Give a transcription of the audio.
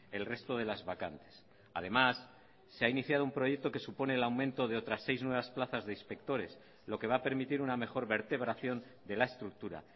el resto de las vacantes además se ha iniciado un proyecto que supone el aumento de otras seis nuevas plazas de inspectores lo que va a permitir una mejor vertebración de la estructura